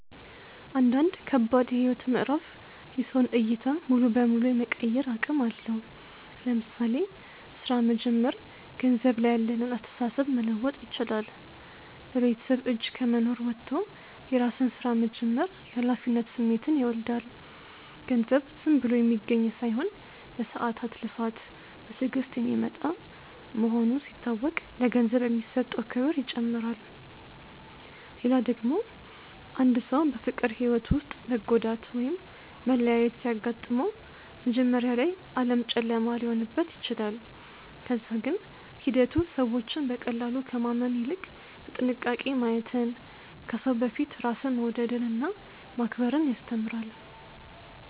አንዳንድ ከባድ የህይወት ምዕራፍ የሰውን ዕይታ ሙሉ በሙሉ የመቀየር አቅም አለው። ለምሳሌ ሥራ መጀመር ገንዘብ ላይ ያለንን አስተሳሰብ መለወጥ ይችላል። በቤተሰብ እጅ ከመኖር ወጥቶ የራስን ስራ መጀመር የኃላፊነት ስሜትን ይወልዳል። ገንዘብ ዝም ብሎ የሚገኝ ሳይሆን በሰዓታት ልፋት፣ በትዕግስት የሚመጣ መሆኑ ሲታወቅ ለገንዘብ የሚሰጠው ክብር ይጨምራል። ሌላ ደግሞ አንድ ሰው በፍቅር ህይወቱ ውስጥ መጎዳት ወይም መለያየት ሲያጋጥመው፣ መጀመሪያ ላይ ዓለም ጨለማ ሊሆንበት ይችላል። ከዛ ግን ሂደቱ ሰዎችን በቀላሉ ከማመን ይልቅ በጥንቃቄ ማየትን፣ ከሰው በፊት ራስን መውደድንና ማክበርን ያስተምራል።